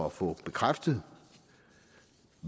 at få bekræftet